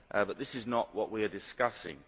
But this is not what we are discussing.